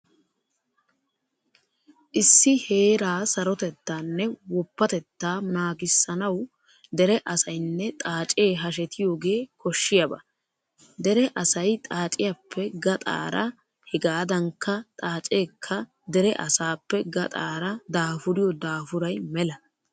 Issi heeraa sarotettaanne woppatettaa naagissanawu dere asaynne xaacee hashetiyogee koshshiyaba. Dere asay xaaciyappe gaxaara hegaadankka xaaceekka dere asaappe gaxaara daafuriyo daafuray mela.